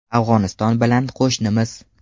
Afg‘oniston bilan qo‘shnimiz.